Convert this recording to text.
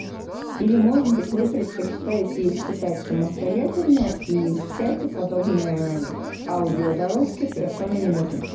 или может быть вы предпочитаете их читать самостоятельно и в чате подобное аудиодорожки совершенно не нужны